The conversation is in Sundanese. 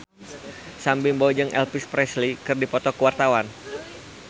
Sam Bimbo jeung Elvis Presley keur dipoto ku wartawan